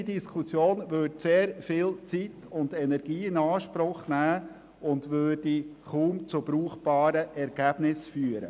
Eine solche Diskussion würde sehr viel Zeit und Energie in Anspruch nehmen und würde kaum zu brauchbaren Ergebnissen führen.